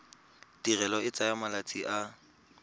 tirelo e tsaya malatsi a